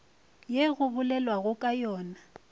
ye go bolelwago ka yona